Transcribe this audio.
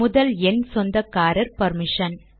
முதல் எண் சொந்தக்காரர் பர்மிஷன்